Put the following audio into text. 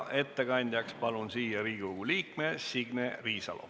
Ettekandjaks palun siia Riigikogu liikme Signe Riisalo.